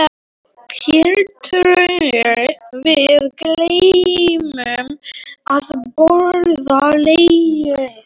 Herra trúr, við gleymum að borða lærið.